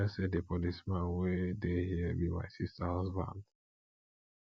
i no know say the policeman wey dey here be my sister husband